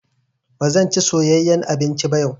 Ba zan ci soyeyyan abinci ba yau.